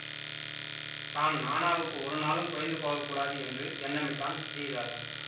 தான் நாணாவுக்கு ஒருநாளும் குறைந்து போக கூடாது என்று எண்ணமிட்டான் ஸ்ரீதரன்